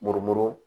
Muru muru